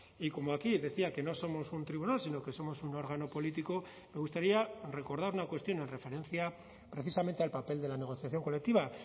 y como aquí decía que no somos un tribunal sino que somos un órgano político me gustaría recordar una cuestión en referencia precisamente al papel de la negociación colectiva